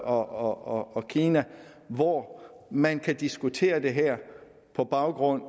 og kina hvor man kan diskutere det her på baggrund